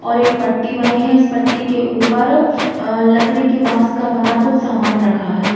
और एक पट्टी बनी है। उस पट्टी के ऊपर लकड़ी के बांस का बना हुआ कुछ समान रखा है।